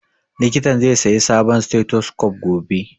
Likitan zai saya sabon stethoscope gobe